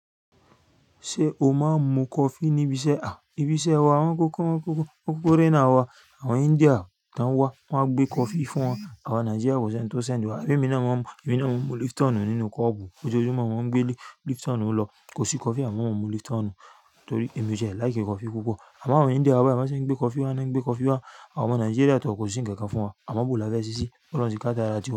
Ṣé o máa ń mu coffee níbi iṣẹ́? À, ibi iṣẹ́ wa, àwọn kókóré náà wa, àwọn India tó ń wá, wọ́n a gbé coffee fún wọn. Àwa Nigeria kò sí ẹni tó sendi wa. Amo èmi náà máa ń mu Lipton nínú kọ́ọ̀bù. Ojoojumọ́ máa ń gbé Lipton ló. Kò sí coffee, àmọ́ mo mú Lipton torí èmi jẹ́ like coffee púpọ̀. Àmọ́ àwọn India wá bẹ, a máa ṣe ń gbé coffee wá, wọ́n á gbé coffee wá. Àwọn Nigeria tọ kò sí ǹkan kan fún wọn. Àmọ́ bọ́o la fẹ́ ṣeṣí, óloun ti kadara tiwá.